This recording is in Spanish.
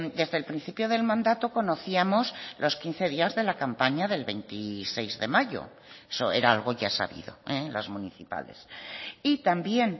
desde el principio del mandato conocíamos los quince días de la campaña del veintiséis de mayo eso era algo ya sabido las municipales y también